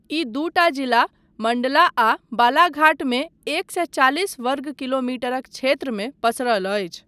ई दूटा जिला मण्डला आ बालाघाट मे एक सए चालिस वर्ग किलोमीटरक क्षेत्रमे पसरल अछि।